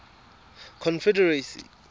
confederacy